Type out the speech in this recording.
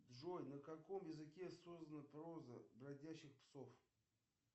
джой на каком языке создана проза бродячих псов